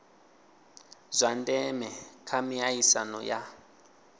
zwa ndeme kha miaisano ya